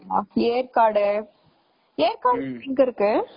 ஏற்காடு ஏற்காடு எங்க இருக்கு?